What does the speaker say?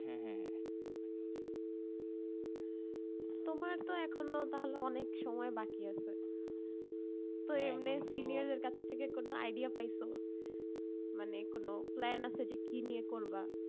তোমার তো এখনো তাহলে অনেক সময় বাকি আছে তো এমনি senior দের কাছ থেকে কোনো idea পাইছো মানে কোনো plan আছে যে কি নিয়ে করবা